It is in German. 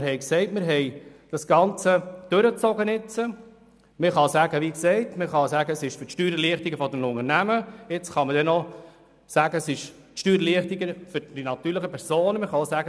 Wir haben das Ganze mitgetragen, wir haben eine Steuererleichterung für die Unternehmen beschlossen, und jetzt sollte man noch eine Steuererleichterung bei den natürlichen Personen beschliessen.